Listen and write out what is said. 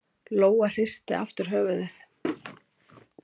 Lóa hristi aftur höfuðið.